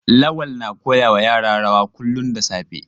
Lawal na koya wa yara rawa kullum da safe.